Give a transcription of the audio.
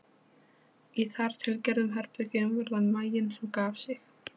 Í þartilgerðum herbergjum var það maginn sem gaf sig.